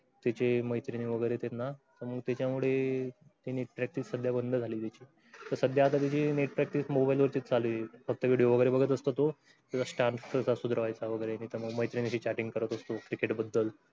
तिथे मैत्रीने वगेरे तेन्हा त्याचा मुळे त्यांनी practice . net practice mobile वर चालू आहे. फक्त video वगेरे बगत बसतो त्यो. chatting करत बसतो क्रिकेट बद्दल